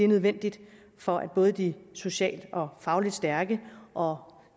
nødvendigt for både de socialt og fagligt stærke og